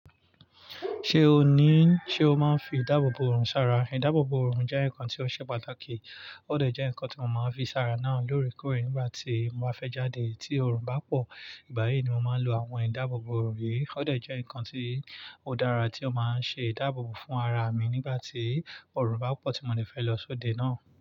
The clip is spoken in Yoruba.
Ṣé o ní, ṣe o máa ń fi ìdáàbòbò òrùn sára? Ìdáàbòbò òrùn jẹ́ nǹkan tí ó ṣe pàtàkì, ó dẹ̀ jẹ́ nǹkan tí mo máa ń fi sára náà lóòrèkóòrè nígbà tí mo bá fẹ́ jáde tí òrùn bá pọ̀. Ìgbà yìí ni mo máa ń lo àwọn ìdáàbòbò òrùn yìí, ó dẹ̀ jẹ́ nǹkan tí ó dára tí ó máa ń ṣe ìdáàbòbò fún ara mi nígbà tí òrùn bá pọ̀ tí mo dẹ fẹ́ lọ sóde náà.